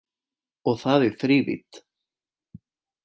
Og það í þrívídd